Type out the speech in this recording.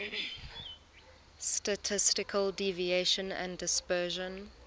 statistical deviation and dispersion